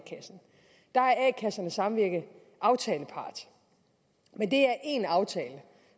kassernes samvirke aftalepart men det er én aftale